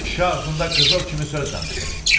Kişi ağzında qızıl kimi söz danışır.